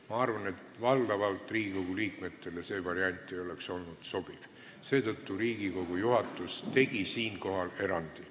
Ma arvan, et valdavalt ei oleks Riigikogu liikmetele see variant sobinud – seetõttu tegi Riigikogu juhatus siinkohal erandi.